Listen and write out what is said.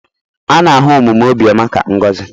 A na-ahụ omume obiọma ka ngọzi.